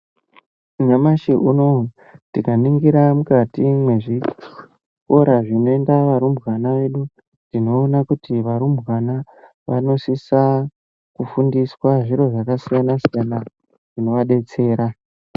Nyamashi unowu tikaningira mukati mezvikora zvinoenda varumbwana vedu, tinoona kuti varumbwana vanosisa kufundiswa zviro zvakasiyana siyana zvinovadetsera.